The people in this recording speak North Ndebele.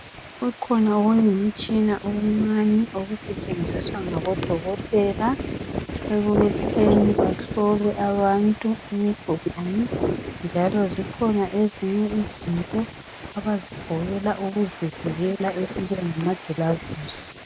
Kukhona okuyimitshina okuncane okusetshenziswa ngabodokotela ekutheni bahlole abantu imigulane njalo zikhona ezinye izinto abazigqokela ukuzivikela ezinjemagilavisi.